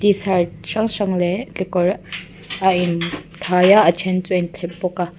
t shirt hrang hrang leh kekawr a in khai a a then chu a inthlep bawk a.